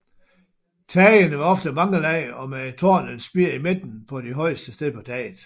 Tagene var ofte i mange lag og med et tårn eller spir i midten på det højeste sted på taget